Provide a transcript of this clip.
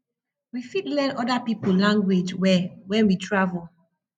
we fit learn oda pipo language well when we travel